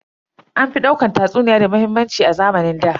An fi daukar tatsuniya da muhimmanci a zamanin ɗa.